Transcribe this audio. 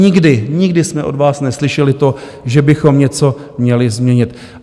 Nikdy, nikdy jsme od vás neslyšeli to, že bychom něco měli změnit.